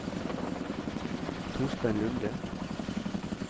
Torstein Lunde